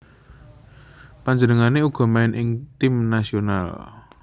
Panjenengané uga main ing tim nasional